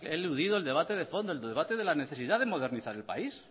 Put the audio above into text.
eludido el debate de fondo el debate de la necesidad de modernizar el país